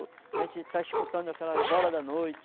A gente está escutando aquelas horas da noite.